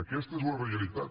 aquesta és la realitat